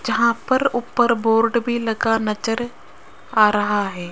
जहां पर ऊपर बोर्ड भी लगा नजर आ रहा हैं।